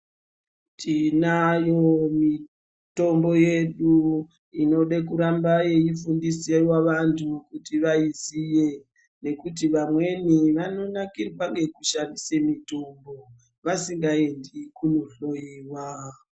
Tinayo mitombo yedu inode kuramba yeifundiswa vandu kuti vaisiye nekuti vamweni vanonakirwa ngekushandisa mitombo vasingaendi kundohloyiwa.